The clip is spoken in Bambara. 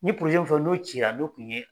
N ye min fɔ n'o cira n'o tun ye